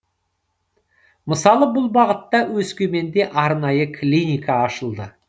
мысалы бұл бағытта өскеменде арнайы клиника ашылды